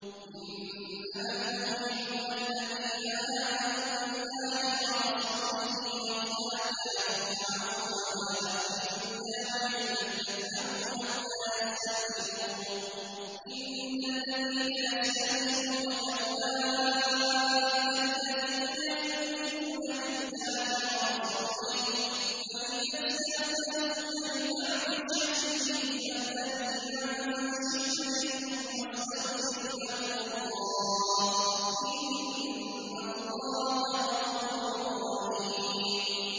إِنَّمَا الْمُؤْمِنُونَ الَّذِينَ آمَنُوا بِاللَّهِ وَرَسُولِهِ وَإِذَا كَانُوا مَعَهُ عَلَىٰ أَمْرٍ جَامِعٍ لَّمْ يَذْهَبُوا حَتَّىٰ يَسْتَأْذِنُوهُ ۚ إِنَّ الَّذِينَ يَسْتَأْذِنُونَكَ أُولَٰئِكَ الَّذِينَ يُؤْمِنُونَ بِاللَّهِ وَرَسُولِهِ ۚ فَإِذَا اسْتَأْذَنُوكَ لِبَعْضِ شَأْنِهِمْ فَأْذَن لِّمَن شِئْتَ مِنْهُمْ وَاسْتَغْفِرْ لَهُمُ اللَّهَ ۚ إِنَّ اللَّهَ غَفُورٌ رَّحِيمٌ